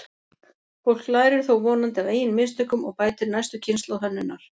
Fólk lærir þó vonandi af eigin mistökum og bætir næstu kynslóð hönnunar.